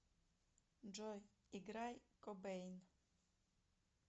джой играй кобейн